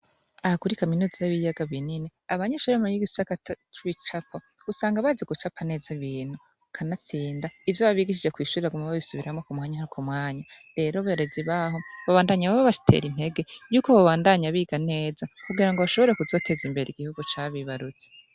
Ahakura kaminuzi y'biyaga binini abanye sharema y'igisakata cuwicapo usanga bazi gucapa neza bintu kanatsinda ivyo babigishije kwishurira gu mube bisubiramwo ku mwanya nkai ku mwanya rero boreza ibaho babandanya bbabashitera intege yuko babandanya biga neza kugira ngo bashobore kuzoteza imbere igihugu cabibaruzi.